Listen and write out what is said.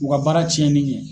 U ka baara cɛnni ɲɛ.